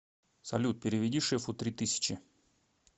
салют переведи шефу три тысячи